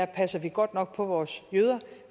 passer godt nok på vores jøder